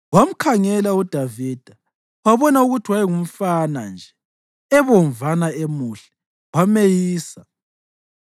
Wamkhangela uDavida wabona ukuthi wayengumfana nje, ebomvana emuhle, wameyisa.